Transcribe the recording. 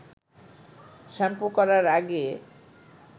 shampoo করার আগে